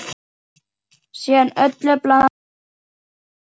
Síðan öllu blandað vel saman.